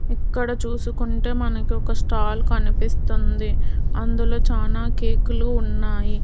ఎక్కడ చూసుకుంటే మనకు ఒక స్టాల్ కనిపిస్తోంది అందులో చాలా కేకులు ఉన్నాయి.